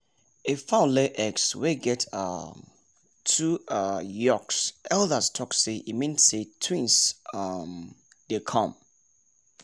if fowl lay eggs wey get um two um yolks elders talk say e mean say twins um dey come